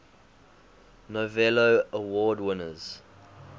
novello award winners